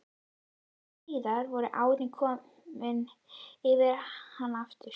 Deginum síðar voru árin komin yfir hana aftur.